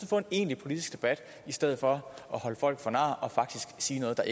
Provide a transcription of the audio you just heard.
få en egentlig politisk debat i stedet for at holde folk for nar og faktisk sige noget der